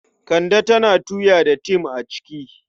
Kande tana tuya da tem a ciki.